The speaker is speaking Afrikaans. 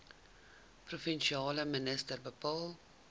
provinsiale minister bepaal